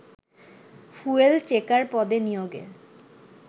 fuel checker পদে নিয়োগে